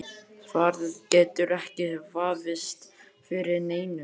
Svarið getur ekki vafist fyrir neinum.